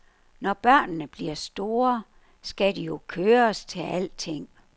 Når børnene bliver store, skal de jo køres til alting.